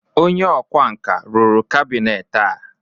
onye ọkwá nkà rụrụ kabinet a?